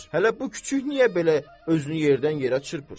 Hələ bu kiçik niyə belə özünü yerdən yerə çırpır?